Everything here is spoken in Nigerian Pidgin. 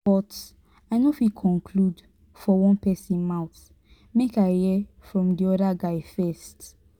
but i no fit conclude for one pesin mouth make i hear from di other guy first.